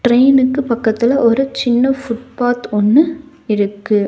ட்ரெயினுக்கு பக்கத்துல ஒரு சின்ன ஃபுட்பாத் ஒன்னு இருக்கு.